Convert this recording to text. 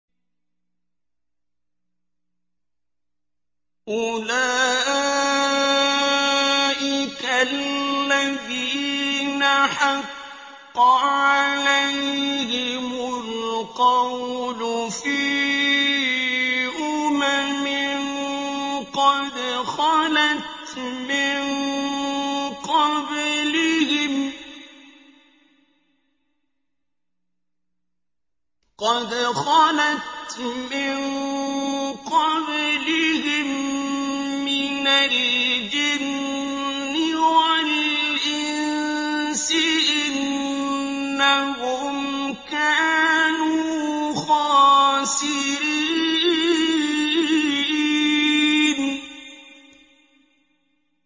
أُولَٰئِكَ الَّذِينَ حَقَّ عَلَيْهِمُ الْقَوْلُ فِي أُمَمٍ قَدْ خَلَتْ مِن قَبْلِهِم مِّنَ الْجِنِّ وَالْإِنسِ ۖ إِنَّهُمْ كَانُوا خَاسِرِينَ